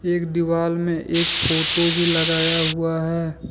एक दिवाल में एक फोटो भी लगाया हुआ हैं।